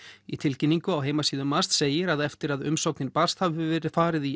í tilkynningu á heimasíðu MAST segir að eftir að umsóknin barst hafi verið farið í